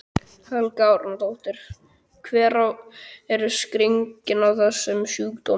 Helga Arnardóttir: Hver er skýringin á þessum sjúkdómi?